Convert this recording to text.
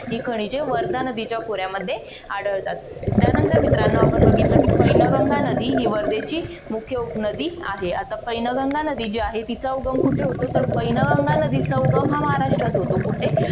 ही खनिजे वर्धा नदीच्या खोऱ्यामध्ये आढळतात. त्यानंतर मित्रानो आपण बघितलं की पैनगंगा नदी ही वर्धेची मुख्य उपनदी आहे. पैनगंगा नदी जी आहे तिचा उगम कुठे होतो? तर पैनगंगा नदीचा उगम हा महाराष्ट्रात होतो. कुठे?